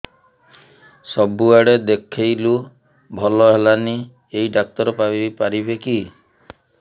ସବୁଆଡେ ଦେଖେଇଲୁ ଭଲ ହେଲାନି ଏଇ ଡ଼ାକ୍ତର ପାରିବେ କି